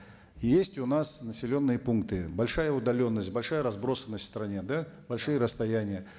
есть у нас населенные пункты большая удаленность большая разбросанность в стране да большие расстояния